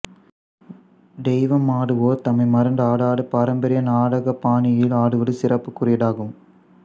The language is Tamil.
தெய்வமாடுவோர் தம்மை மறந்து ஆடாது பாரம்பரிய நாடகப்பாணியில் ஆடுவது சிறப்புக்குரியதாகும்